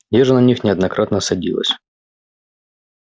я же на них неоднократно садилась